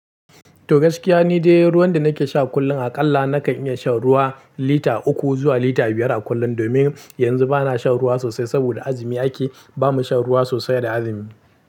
To gaskiya ni dai ruwan da nake sha kullum aƙalla nakan iya shan ruwa lita uku zuwa lita biyar a kullum. Domin yanzu bana shan ruwa sosai saboda azumi ake, ba mu shan ruwa sosai da azumi.